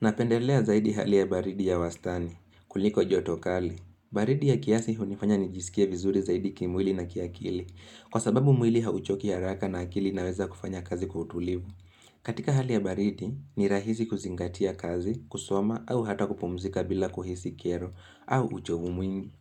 Napendelea zaidi hali ya baridi ya wastani, kuliko joto kali. Baridi ya kiasi hunifanya nijisikia vizuri zaidi kimwili na kiakili. Kwa sababu mwili hauchoki haraka na akili inaweza kufanya kazi utulivu. Katika hali ya baridi, ni rahisi kuzingatia kazi, kusoma au hata kupumzika bila kuhisi kero au uchovu mwingi.